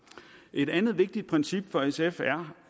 et andet vigtigt princip for sf er